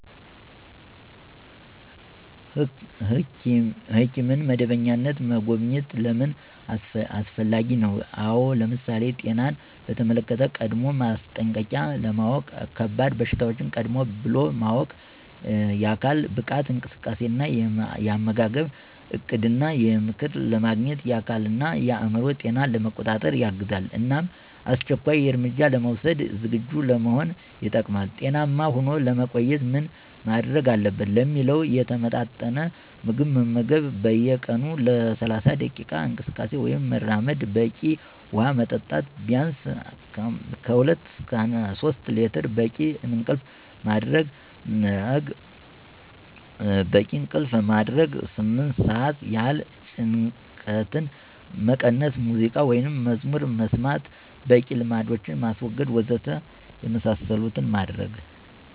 ሕኪምን በመደበኛነት መጎብኘት ለምን አስፈላጊ ነው? አው ለምሳሌ፦ ጤናን በተመለክተ ቀድሞው ማስጠንቀቂያ ለማውቅ፣ ከባድ በሽታዎች ቀድም ብሎ ማወቅ፣ የአካል ብቃት እንቅስቃሴ እና የአመጋገብ እቅድ እና ምክር ለማግኘት፣ የአካል እና የአዕምሮ ጤና ለመቆጣጠር ያግዛል እናም አስቸኳይ እርምጃ ለመውስድ ዝግጁ ለመሆን ይጠቅማል። ጤናማ ሆኖ ለመቆየት ምን ማድርግ አለበት? ለሚለው የተመጣጠነ ምግብ መመገብ፣ በየ ቀኑ ለ30 ደቂቃ እንቅስቃሴ ወይም መራመድ፣ በቂ ውሃ መጠጣት ቢንስ (2-3)ሊትር፣ በቂ እንቅልፍ ማደረግ (8)ስአት ይህል፣ ጭንቀትን መቀነስ(ሙዚቃ ወይም መዝሙር መስማት) ፣በቂ ልማዶችን ማስወገድ..... ወዘተ የመሳሰሉትን ማድረግ።